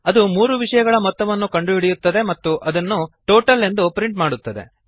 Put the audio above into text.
ಅದು ಮೂರು ವಿಷಯಗಳ ಮೊತ್ತವನ್ನು ಕಂಡುಹಿಡಿಯುತ್ತದೆ ಮತ್ತು ಇದನ್ನು ಟೋಟಲ್ ಎಂದು ಪ್ರಿಂಟ್ ಮಾಡುತ್ತದೆ